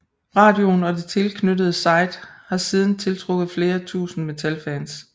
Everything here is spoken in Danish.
Radioen og det tilknyttede site har siden tiltrukket flere tusinde metalfans